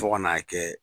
Fo ka n'a kɛ